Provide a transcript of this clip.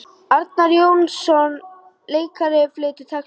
Arnar Jónsson leikari flytur texta.